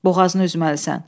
Boğazını üzməlisən.